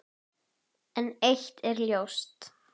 En eitt er ljóst.